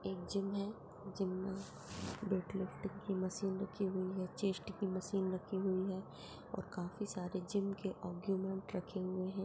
Gym है gym में weight lift की मशीन रखी हुई है चेस्ट की मशीन रखी हुई है और काफ़ी सारे जिम के औरगूमेंटस रखे हुए हैं।